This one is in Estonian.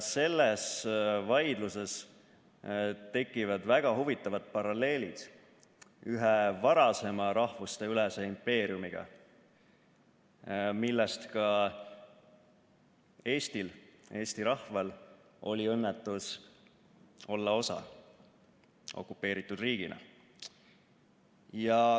Selles vaidluses tekivad väga huvitavad paralleelid ühe varasema rahvusteülese impeeriumiga, millest ka Eestil okupeeritud riigina, Eesti rahval oli õnnetus osa olla.